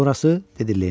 Dedi Lenni.